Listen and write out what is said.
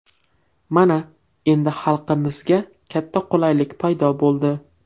Mana, endi xalqimizga katta qulaylik paydo bo‘ldi.